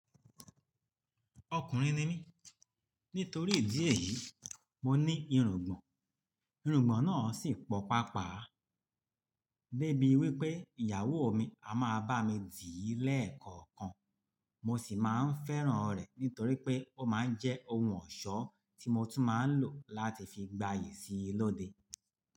Ọkùnrin ni mí, nítorí ìdí èyí, mo ní irùngbọ̀n, irùngbọ̀n náà sì pọ̀ pápá. Dé bí wípé ìyàwó mi a máa bá mi dìí lẹ́ẹ̀kọ̀kan, mo sì máa ń fẹ́ràn rẹ̀ nítorí pé ó máa ń jẹ́ ohun ọ̀ṣọ́ tí mo tún máa ń lò láti fi gbayì síi lọ́de.